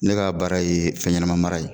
Ne ka baara ye fɛn ɲɛnama mara ye